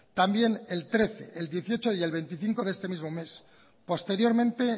también el trece el dieciocho y el veinticinco de este mismo mes posteriormente